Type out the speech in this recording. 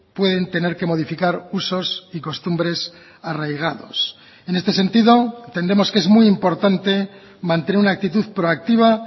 pueden tener que modificar usos y costumbres arraigados en este sentido entendemos que es muy importante mantener una actitud proactiva